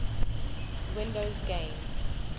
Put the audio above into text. windows games